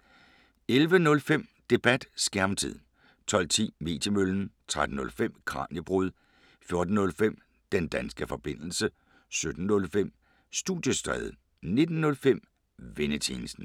11:05: Debat: Skærmtid 12:10: Mediemøllen 13:05: Kraniebrud 14:05: Den danske forbindelse 17:05: Studiestræde 19:05: Vennetjenesten